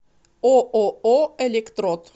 ооо электрод